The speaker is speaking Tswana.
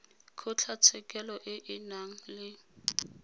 kgotlatshekelo e e nang le